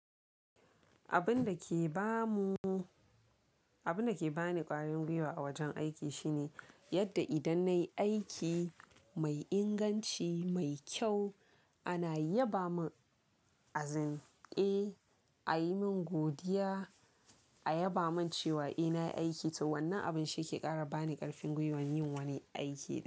Abun dake ba mu, abun dake bani ƙarin gwiwa wajen aiki shine yadda idan nayi aiki mai inganci, mai kyau ana yabamin azimke, ayimin godiya, a yabamin cewa eh nayi aiki to wannan abun shi ke ƙara bani ƙarfin gwiwan yin wani aiki da.